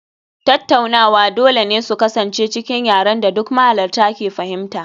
Tattaunawa dole ne su kasance cikin yaren da duk mahalarta ke fahimta